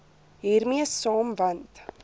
hiermee saam want